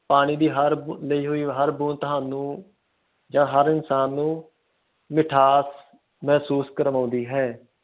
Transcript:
ਪਾਣੀ ਦੀ ਹਰ ਬੂੰਦ ਤੁਹਾਨੂੰ ਆ ਹਰ ਇਨਸਾਨ ਨੂੰ ਮਿਠਾਸ ਮਹਿਸੂਸ ਕਰਵਾਉਂਦੀ ਹੈ